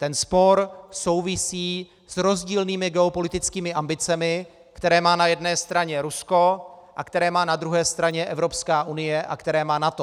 Ten spor souvisí s rozdílnými geopolitickými ambicemi, které má na jedné straně Rusko a které má na druhé straně Evropská unie a které má NATO.